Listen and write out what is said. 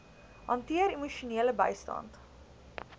hanteer emosionele bystand